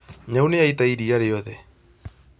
Nyau nĩ yaita iria rĩothe